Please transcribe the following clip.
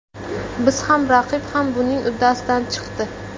Biz ham, raqib ham buning uddasidan chiqdi.